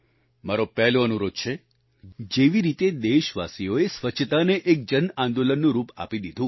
મારો પહેલો અનુરોધ છે જેવી રીતે દેશવાસીઓએ સ્વચ્છતાને એક જન આંદોલનનું રૂપ આપી દીધું